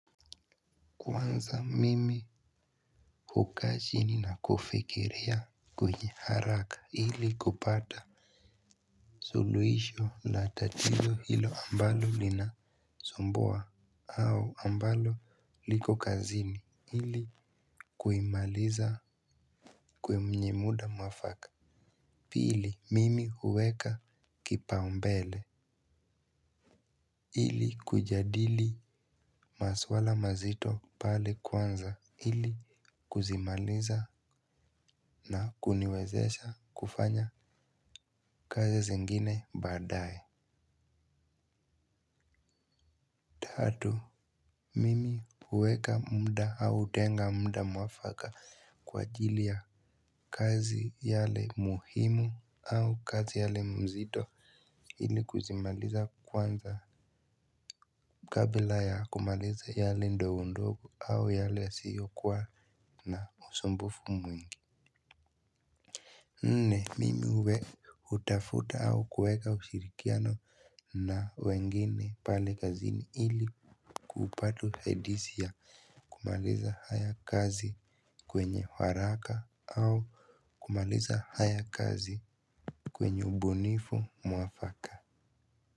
Kwanza mimi hukaa chini na kufikiria kwenye haraka ili kupata suluisho la tatizo hilo ambalo linasumbua au ambalo liko kazini hili kuimaliza kwenye muda mwafaka. Pili mimi uweka kipa umbele ili kujadili maswala mazito pale kwanza ili kuzimaliza na kuniwezesha kufanya kazi zingine baadae. Tatu, mimi uweka muda au hutenga muda mwafaka kwa ajili ya kazi yale muhimu au kazi yale mzito ili kuzimaliza kwanza kabla ya kumaliza yale ndogo ndogo au yale yasiyo kuwa na usumbufu mwingi. Nne mimi uwe utafuta au kuweka ushirikiano na wengine pale kazini ili kupata usaidisi ya kumaliza haya kazi kwenye waraka au kumaliza haya kazi kwenye ubunifu mwafaka. Kwa hivyo.